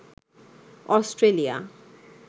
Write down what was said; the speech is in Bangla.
অস্ট্রেলিয়া